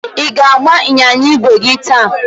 ị ga-agba ịnyịnya ígwè gị taa?